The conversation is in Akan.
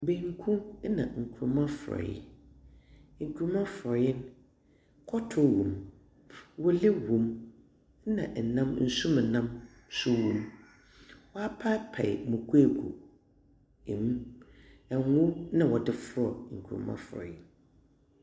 Banku na nkuruma forɔeɛ. Nkuruma forɔeɛ, kɔtɔ wom. Wele wom, ɛnna nnam nsuomnam nso wom. Wɔapaepae no akuakuw wɔ mu. Ngo na wɔde fra nkurama forɔeɛ no.